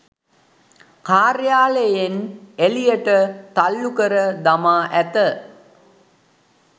කාර්යාලයෙන් එළියට තල්ලු කර දමා ඇත